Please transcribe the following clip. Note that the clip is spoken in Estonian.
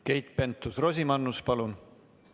Keit Pentus-Rosimannus, palun!